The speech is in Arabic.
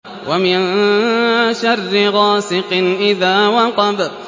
وَمِن شَرِّ غَاسِقٍ إِذَا وَقَبَ